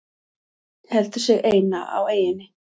Heldur sig eina á eyjunni.